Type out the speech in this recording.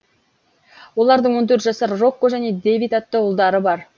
олардың он төрт жасар рокко және дэвид атты ұлдары бар